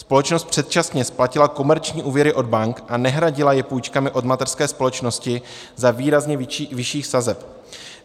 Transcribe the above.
Společnost předčasně splatila komerční úvěry od bank a nehradila je půjčkami od mateřské společnosti za výrazně vyšších sazeb.